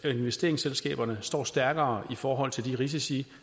og investeringsselskaberne står stærkere i forhold til de risici